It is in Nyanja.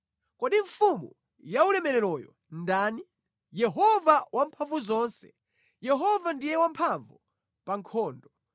Kodi Mfumu yaulemereroyo ndani? Yehova Wamphamvuzonse, Yehova ndiye wamphamvu pa nkhondo.